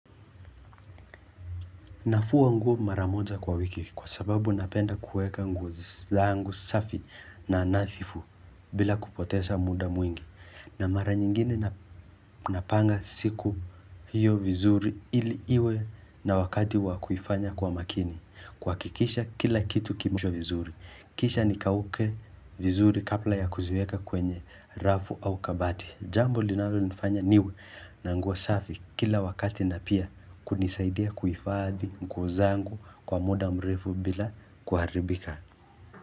Nafua nguo mara moja kwa wiki kwa sababu napenda kuweka nguo zangu safi na nadhifu bila kupoteza muda mwingi. Na mara nyingine napanga siku hiyo vizuri ili iwe na wakati wakuifanya kwa makini. Kuhakikisha kila kitu kimo vizuri. Kisha nikauke vizuri kabla ya kuziweka kwenye rafu au kabati. Jambo linalonifanya niwe na nguo safi kila wakati na pia kunisaidia kuifadhi nguo zangu kwa muda mrefu bila kuharibika.